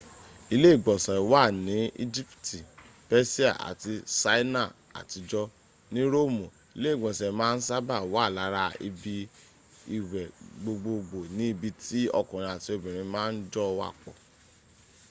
ile igbonse wa ni ijipti pesia ati saina atijo ni roomu ile igbonse maa n saba wa lara ibi iwe gbogboogbo ni ibi ti okunrin ati obinrin ma n jo wapo